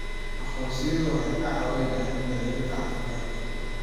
Aqoonsiyadu waxay caawiyaan daryeelka caafimaadka.